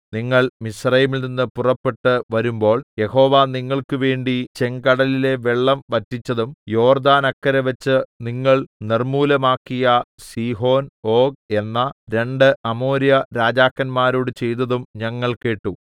നിങ്ങൾ മിസ്രയീമിൽനിന്ന് പുറപ്പെട്ടു വരുമ്പോൾ യഹോവ നിങ്ങൾക്ക് വേണ്ടി ചെങ്കടലിലെ വെള്ളം വറ്റിച്ചതും യോർദ്ദാനക്കരെവച്ച് നിങ്ങൾ നിർമ്മൂലമാക്കിയ സീഹോൻ ഓഗ് എന്ന രണ്ടു അമോര്യരാജാക്കന്മാരോട് ചെയ്തതും ഞങ്ങൾ കേട്ടു